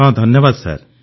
ହଁ ଧନ୍ୟବାଦ ସାର୍